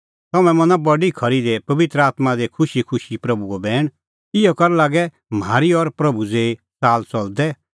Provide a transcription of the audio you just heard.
तम्हैं मनअ बडी खरी दी बी पबित्र आत्मां दी खुशीखुशी प्रभूओ बैण इहअ करै लागै म्हारी और प्रभू ज़ेही च़ाल च़लदै